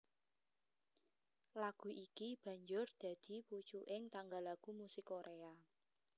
Lagu iki banjur dadi pucuking tangga lagu musik Koréa